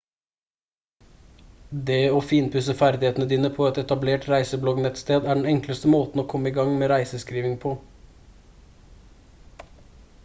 det å finpusse ferdighetene dine på et etablert reisebloggnettsted er den enkleste måten å komme i gang med reiseskriving på